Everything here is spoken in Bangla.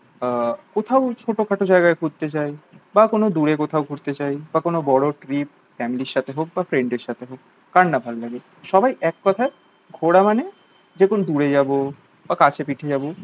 আহ কোথাও ছোটোখাটো জায়গায় ঘুরতে যাই বা কোনো দূরে কোথাও ঘুরতে চাই বা কোনো বড় trip family র সাথে হোক বা ফ্রেন্ডের সাথে হোক, কার না ভালো লাগে? সবাই এক কথায় ঘোরা মানে যে কোনো দূরে যাবো বা কাছে পিঠে যাবো